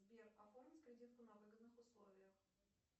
сбер оформить кредитку на выгодных условиях